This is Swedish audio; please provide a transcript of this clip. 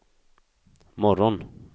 morgon